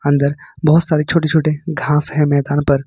बहुत सारी छोटे छोटे घास है मैदान पर।